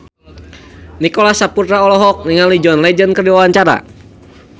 Nicholas Saputra olohok ningali John Legend keur diwawancara